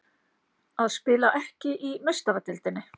Að spila ekki í Meistaradeildinni?